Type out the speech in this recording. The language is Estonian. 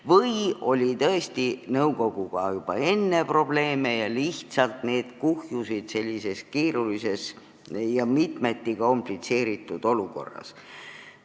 Või oli tõesti nõukoguga juba enne probleeme ja need lihtsalt kuhjusid sellises keerulises ja mitmeti komplitseeritud olukorras?